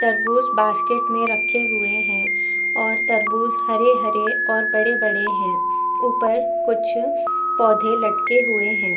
तरबूज बास्केट में रखे हुए है और तरबूज हरे -हरे और बड़े -बड़े है ऊपर कुछ पौधे लटके हुए है।